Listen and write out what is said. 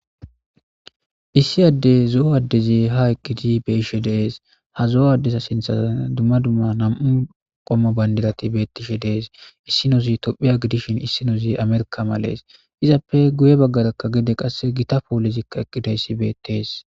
issi addey zo7o addezi ha eqqidi beishe dees ha zo7o addeza sintha dumma dumma nam7u qommo bayndirati bettishe dees issi noosi tophiya gidishin issinoozi amerka malees izappe guye baggarakka gede qasse gita poolizikka eqqidayssi beettees